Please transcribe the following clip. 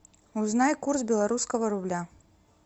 узнай курс белорусского рубля